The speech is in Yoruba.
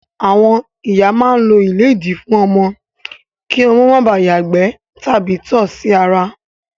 Àwọn ìyá máa ń lo ìlédìí fún ọmọ kí ọmọ máa bà á ìgbẹ́ tàbí tọ̀ sí ara.